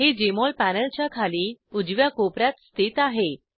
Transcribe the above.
हे जेएमओल पॅनलच्या खाली उजव्या कोपर्यात स्थित आहे